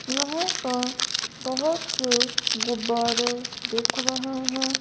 यहां पर बहुत से गुब्बारे दिख रहे हैं।